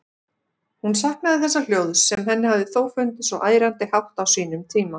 Hún saknaði þessa hljóðs, sem henni hafði þó fundist svo ærandi hátt á sínum tíma.